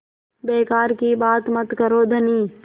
बेकार की बात मत करो धनी